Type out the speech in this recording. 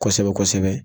Kosɛbɛ kosɛbɛ